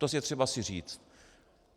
To je třeba si říct.